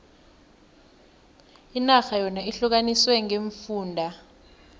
inarha yona ihlukaniswe ngeemfunda